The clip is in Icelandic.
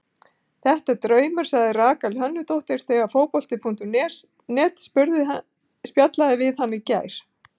Þetta er draumur, sagði Rakel Hönnudóttir þegar Fótbolti.net spjallaði við hana í gær.